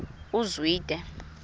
uzwide